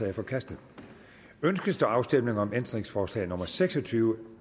er forkastet ønskes der afstemning om ændringsforslag nummer seks og tyve